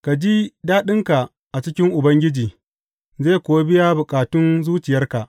Ka ji daɗinka a cikin Ubangiji zai kuwa biya bukatun zuciyarka.